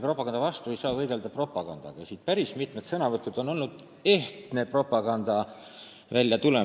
Propaganda vastu ei saa võidelda propagandaga, aga täna on siin päris mitmed sõnavõtud tähendanud ehtsa propaganda väljatulekut.